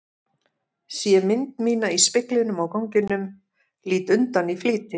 Sé mynd mína í speglinum á ganginum, lít undan í flýti.